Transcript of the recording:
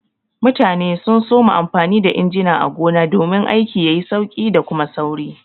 Mutane sun soma amfani da injina a gona domin aiki yayi sauki da Kuma sauri.